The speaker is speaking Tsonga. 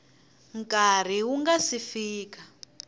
nkarhi wu nga si fika